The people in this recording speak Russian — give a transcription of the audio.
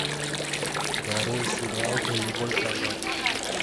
нарой сериал нулевой канал